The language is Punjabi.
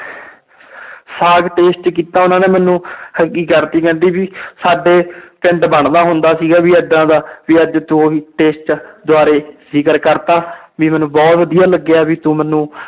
ਸਾਘ taste ਕੀਤਾ ਉਹਨਾਂ ਨੇ ਮੈਨੂੰ ਕਰਤੀ ਕਹਿੰਦੀ ਵੀ ਸਾਡੇ ਪਿੰਡ ਬਣਦਾ ਹੁੰਦਾ ਸੀਗਾ ਵੀ ਏਦਾਂ ਦਾ ਵੀ ਅੱਜ ਤੂੰ ਉਹੀ taste ਦੁਬਾਰੇ ਜ਼ਿਕਰ ਕਰ ਦਿੱਤਾ ਵੀ ਮੈਨੂੰ ਬਹੁਤ ਵਧੀਆ ਲੱਗਿਆ ਵੀ ਤੂੰ ਮੈਨੂੰ